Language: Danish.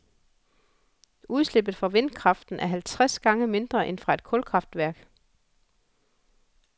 Udslippet fra vindkraften er halvtreds gange mindre end fra et kulkraftværk.